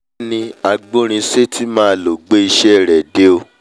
kiní agbórinsétí mà ló gbé ìṣe rẹ̀ dé o